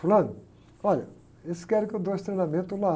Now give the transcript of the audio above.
Fulano, olha, eles querem que eu dê esse treinamento lá.